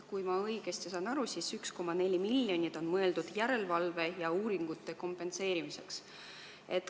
Kui ma õigesti saan aru, siis 1,4 miljonit on mõeldud järelevalve ja uuringute kompenseerimiseks.